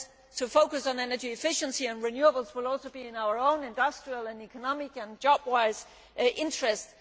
To focus on energy efficiency and renewables will also be in our own industrial, economic and job wise interests.